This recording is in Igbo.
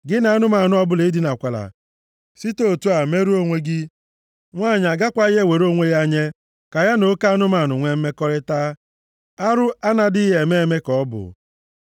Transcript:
“ ‘Gị na anụmanụ ọbụla edinakwala, site otu a merụọ onwe gị. Nwanyị agakwaghị ewere onwe ya nye ka ya na oke anụmanụ nwee mmekọrịta, arụ a na-adịghị eme eme ka ọ bụ.